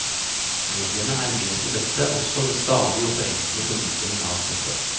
Mediene er med på dette også ved stadig å forenkle formidlingen av stoffet.